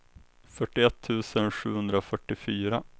fyrtioett tusen sjuhundrafyrtiofyra